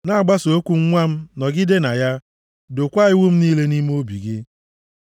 Na-agbaso okwu m nwa m, nọgide na ya, dokwaa iwu m niile nʼime obi gị.